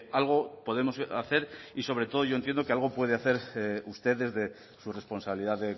algo podemos hacer y sobre todo yo entiendo que algo puede hacer usted desde su responsabilidad